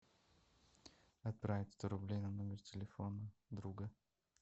отправить сто рублей на номер телефона друга